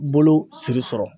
Bolo siri sɔrɔ.